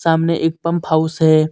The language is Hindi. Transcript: सामने एक पंप हाउस है.